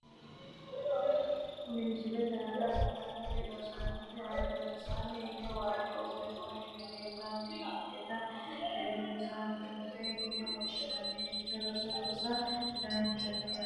Kuri misilete aana afantannori rosaanote albansaanni higge waajjo uddano uddidhe leeltanni noonketa tenne rosiisaanchote yine woshshineemmo roso rosa danchate yaate